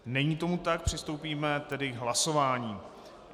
Není tomu tak, přistoupíme tedy k hlasování.